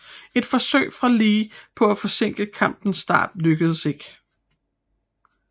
Et forsøg fra Lee på at forsinke kampens start lykkedes ikke